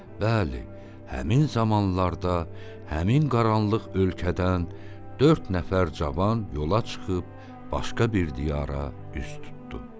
Bəli, həmin zamanlarda həmin qaranlıq ölkədən dörd nəfər cavan yola çıxıb başqa bir diyara üz tutdu.